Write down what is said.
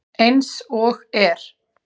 Eins og er.